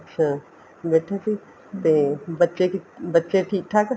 ਅੱਛਾ ਬੈਠੀ ਸੀ ਤੇ ਬੱਚੇ ਬੱਚੇ ਠੀਕ ਠਾਕ